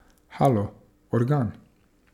Halo, organ!